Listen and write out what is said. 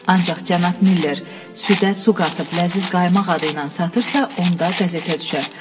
Ancaq cənab Miller südə su qatıb ləzziz qaymaq adı ilə satırsa, onda qəzetə düşər.